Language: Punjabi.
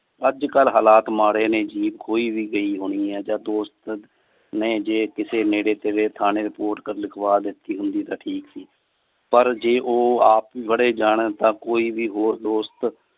ਅੱਜ ਕਲ ਹਾਲਤ ਮਾੜੇ ਨੇ jeep ਕੋਈ ਵੀ ਗਈ ਹੋਣੀ ਆ। ਜਾ ਦੋਸਤ ਨੇ ਜੇ ਕੀਤੇ ਨੇੜੇ ਤੇੜੇ ਠਾਣੇ report ਲਿਖਵਾ ਦਿਤੀ ਹੁੰਦੀ ਤਾ ਠੀਕ ਸੀ। ਪਰ ਜੇ ਉਹ ਆਪ ਹੀ ਫੜੇ ਜਾਨ ਤਾ ਕੋਈ ਵੀ ਹੋਰ ਦੋਸਤ